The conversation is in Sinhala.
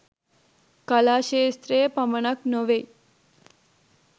කලා ක්ෂේත්‍රයේ පමණක් නොවෙයි